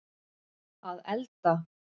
að elda